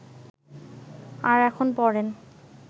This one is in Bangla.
আর এখন পরেন